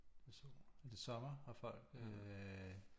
Sol er det sommer har folk øh